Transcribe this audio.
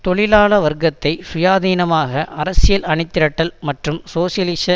தொழிலாள வர்க்கத்தை சுயாதீனமான அரசியல் அணிதிரட்டல் மற்றும் சோசியலிச